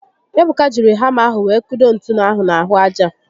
Ebuka jiri hama ahụ were kudo ntu ahụ n'ahụ aja